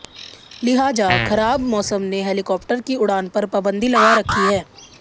लिहाजा खराब मौसम ने हेलिकाप्टर की उड़ान पर पाबंदी लगा रखी है